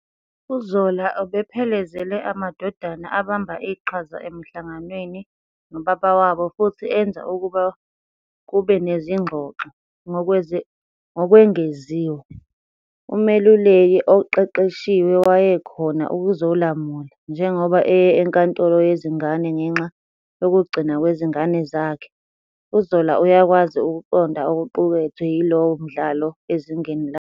UZola ubephelezela amadodana abamba iqhaza emihlanganweni nobaba wabo futhi enza ukuba kube nezingxoxo. Ngokwengeziwe, umeluleki oqeqeshiwe wayekhona ukuzolamula. Njengoba eye enkantolo yezingane ngenxa yokugcinwa kwezingane zakhe, uZola uyakwazi ukuqonda okuqukethwe yilowo mdlalo ezingeni lakhe.